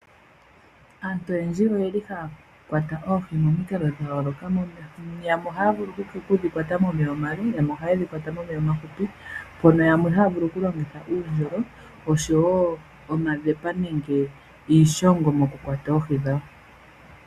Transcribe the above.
Aantu oyendji ohaya kwata oohi momikalo dha yooloka mono yamwe haya vulu okudhi kwata momeya omale, yamwe ohaya dhi kwata momeya omafupi, mono yamwe haya vulu okulongitha uundjolo oshowo omadhepa nenge iishongo mokukwata oohi dhawo.